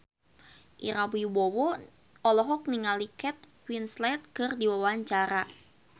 Ira Wibowo olohok ningali Kate Winslet keur diwawancara